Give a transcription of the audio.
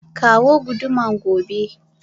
Kawo guduma gobe!